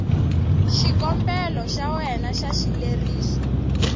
xikombelo xa wena xa xileriso